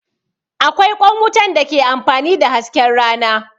Akwai ƙwan wutan da ke amfani da hasken rana